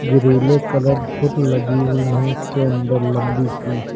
ग्रिलें colourful लगी हुई हैं इसके अंदर लंबी सी।